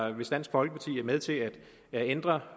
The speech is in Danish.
hvis dansk folkeparti er med til at ændre